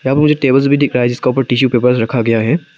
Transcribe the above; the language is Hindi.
यहाँ मुझे टेबल्स भी दिख रहा है जिसको पर टिशू पेपर रखा गया है।